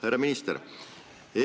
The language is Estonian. Härra minister!